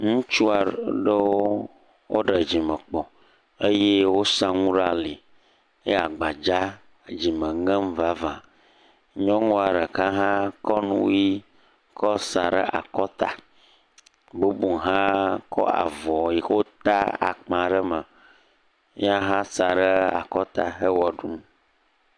Ŋutsu aɖewo ɖe dzimekpo eye wosa nu ɖe ali eye agbadza dzime ŋem vava nyɔnua ɖeka ha kɔ nuɣi sa ɖe akɔta bubu ha kɔ avɔ yike wota akpa ɖe eme ya ha sae ɖe akɔta he ɣeaɖum